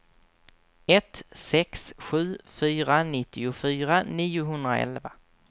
ett sex sju fyra nittiofyra niohundraelva